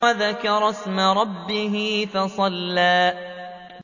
وَذَكَرَ اسْمَ رَبِّهِ فَصَلَّىٰ